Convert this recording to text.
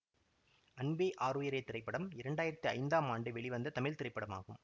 அன்பே ஆருயிரே திரைப்படம் இரண்டாயிரத்தி ஐந்தாம் ஆண்டு வெளிவந்த தமிழ் திரைப்படமாகும்